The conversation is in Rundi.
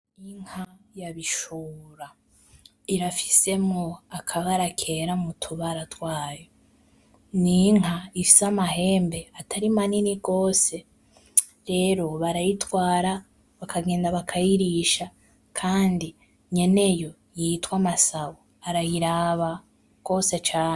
Inka ya Bishora. Irafisemwo akabara kera mu tubara twayo. Ni inka ifise amahembe atari manini gose rero barayitwara, bakagenda bakayirisha kandi nyene yo yitwa Masabo arayiraba ,gose cane.